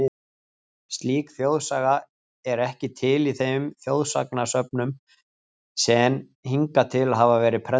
Slík þjóðsaga er ekki til í þeim þjóðsagnasöfnum sen hingað til hafa verið prentuð.